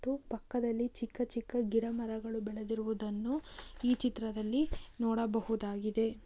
ಮತ್ತು ಪಕ್ಕದಲ್ಲಿ ಚಿಕ್ಕ ಚಿಕ್ಕ ಗಿಡ ಮರಗಳು ಬೆಳೆದಿರುವುದನ್ನು ಈ ಚಿತ್ರದಲ್ಲಿ ನೋಡಬಹುದಾಗಿದೆ.